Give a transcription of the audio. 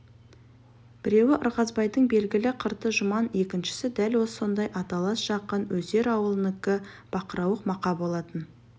біреуі ырғызбайдың белгілі қырты жұман екіншісі дәл сондай аталас жақын өсер ауылынікі бақырауық мақа болатын